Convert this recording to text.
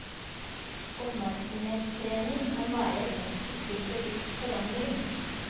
Oppmerksomhetstrening kan være et middel til bevisst forandring.